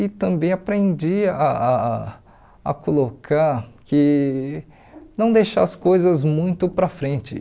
E também aprendi ah ah a colocar que não deixar as coisas muito para frente.